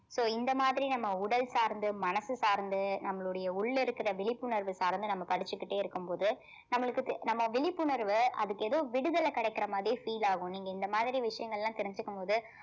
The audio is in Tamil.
so இந்த மாதிரி நம்ம உடல் சார்ந்து மனசு சார்ந்து நம்மளுடைய உள்ள இருக்கிற விழிப்புணர்வு சார்ந்து நம்ம படிச்சுக்கிட்டே இருக்கும்போது நம்மளுக்கு தே~ நம்ம விழிப்புணர்வ அதுக்கு எதோ விடுதல கிடைக்கிற மாதிரியே feel ஆகும் நீங்க இந்த மாதிரி விஷயங்கல்லாம் தெரிஞ்சுக்கும்போது